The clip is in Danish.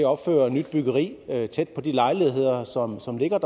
opfører nyt byggeri tæt på de lejligheder som som ligger